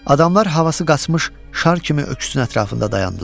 Adamlar havası qaçmış şar kimi öküzün ətrafında dayandılar.